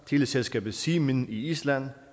teleselskabet siminn i island